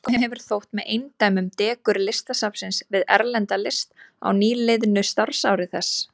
Mörgum hefur þótt með eindæmum dekur Listasafnsins við erlenda list á nýliðnu starfsári þess.